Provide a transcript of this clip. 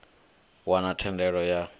wana thendelo ya vhudzulo ha